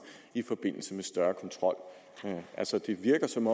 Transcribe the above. i forbindelse med større kontrol altså det virker som